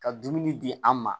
Ka dumuni di an ma